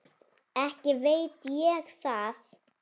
Ekki veit ég það.